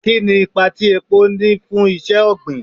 Kini ipa ti epo ni iṣẹ-ogbin